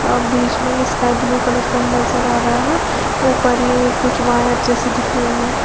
अ बीच में sky blue colour का ही नजर आ रहा है ऊपर ये कुछ वायर जैसे दिख रहे है।